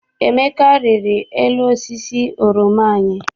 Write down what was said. Emeka riri elu osisi oroma anyị.